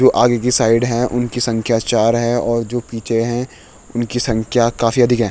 जो आगे की साइड हैं उनकी संख्या चार है और जो पीछे है उनकी संख्या काफी अधिक है।